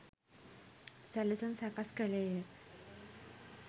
සැළසුම් සකස් කළේ ය